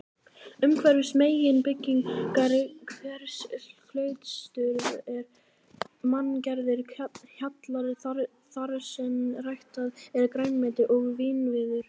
Umhverfis meginbyggingar hvers klausturs eru manngerðir hjallar þarsem ræktað er grænmeti og vínviður.